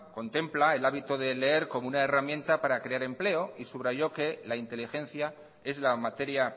contempla el hábito de leer como una herramienta para crear empleo y subrayó que la inteligencia es la materia